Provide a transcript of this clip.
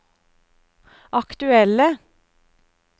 aktuelle